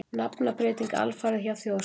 Nafnabreyting alfarið hjá Þjóðskrá